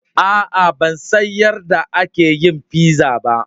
Aa, ban san yarde aka yin pizza ba.